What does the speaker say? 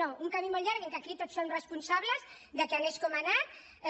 no un camí molt llarg en què aquí tots som responsables que anés com ha